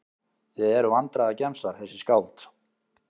Þið eruð vandræðagemsar þessi skáld.